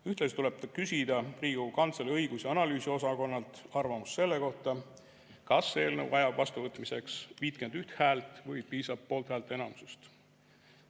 Ühtlasi tuleb küsida Riigikogu Kantselei õigus‑ ja analüüsiosakonnalt arvamust selle kohta, kas eelnõu vajab vastuvõtmiseks 51 häält või piisab poolthäälte enamusest.